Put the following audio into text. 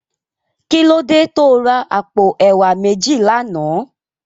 Kilódé tó rá àpó èwá méji làná?